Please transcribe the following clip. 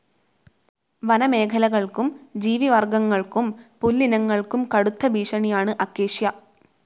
വനമേഖലകൾക്കും ജീവിവർഗങ്ങൾക്കും പുല്ലിനങ്ങൾക്കും കടുത്ത ഭീഷണിയാണ് അക്കേഷ്യ.